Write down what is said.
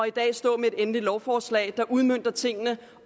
i dag at stå med et endeligt lovforslag der udmønter tingene